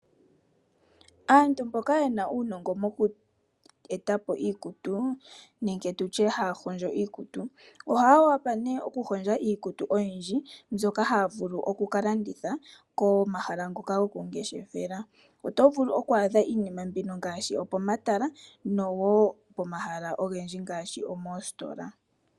Aantu mboka yena uunogo moku etapo iikutu nenge tutye haa hondjo iikutu oha wapa nee oku hondja iikutu oyindji mbyoka haa vulu okuka landitha komahala ngoka goku ngeshefela. Oto vulu oku adha iinima mbino ngaashi okomatala nowo pomahala ogendji ngaashi moositola.